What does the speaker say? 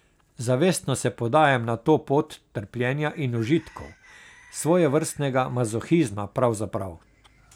Zavestno se podajam na to pot trpljenja in užitkov, svojevrstnega mazohizma pravzaprav.